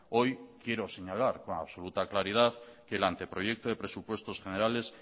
hoy quiero señalar con absoluta claridad que el anteproyecto de presupuestos generales